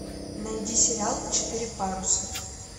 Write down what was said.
найди сериал четыре паруса